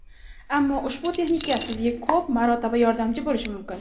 Ammo ushbu texnika sizga ko‘p marotaba yordamchi bo‘lishi mumkin.